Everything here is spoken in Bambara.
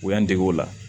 U y'an dege o la